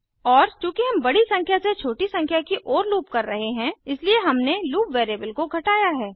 और चूँकि हम बड़ी संख्या से छोटी संख्या की ओर लूप कर रहे हैं इसलिए हमने लूप वैरिएबल को घटाया है